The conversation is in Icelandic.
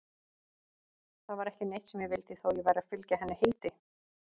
Það var ekki neitt sem ég vildi, þó ég væri að fylgja henni Hildi.